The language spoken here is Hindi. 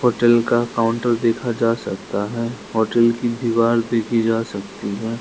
होटल का काउंटर देखा जा सकता है होटल की दीवार देखी जा सकती है।